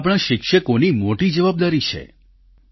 જેમાં આપણા શિક્ષકોની મોટી જવાબદારી છે